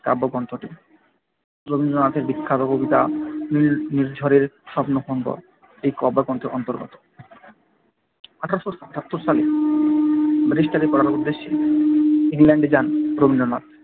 কাব্যগ্রন্থটি রবীন্দ্রনাথের বিখ্যাত কবিতা নির্ঝরের স্বপ্নভঙ্গ এই কাব্যগ্রন্থের অন্তর্গত আঠারোশো আটাত্তর সালে ব্যারিস্টারি পড়ার উদ্দেশ্যে ইংল্যান্ডে যান রবীন্দ্রনাথ।